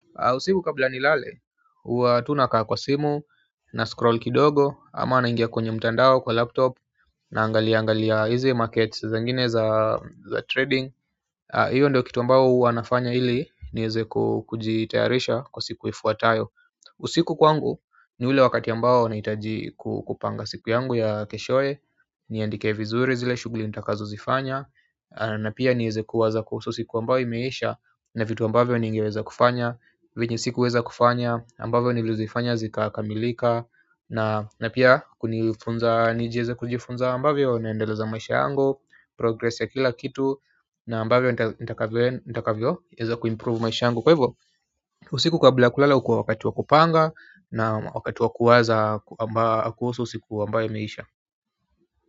Usiku kabla nilale, hua tu na kaa kwa simu na scroll kidogo ama naingia kwenye mtandao kwa laptop naangalia angalia hizi market zingine za trading hiyo ndio kitu ambayo hua nafanya ili niweze kujitayarisha kwa siku ifuatayo usiku kwangu ni ule wakati ambao nahitaji kupanga siku yangu ya keshoye niandike vizuri zile shughuli nitakazo zifanya na pia niweze kuwaza kuhusu siku ambayo imeisha na vitu ambavyo ningeweza kufanya vyenye sikuweza kufanya ambavyo nilizifanya zikakamilika na pia kunifunza ni jiweze kujifunza ambavyo naendeleza maisha yangu progress ya kila kitu na ambavyo nitakavyoweza kuimprove maisha yangu kwa hivyo usiku kabla ya kulala hukua wakati wa kupanga na wakati wa kuwaza kuhusu siku ambayo imeisha.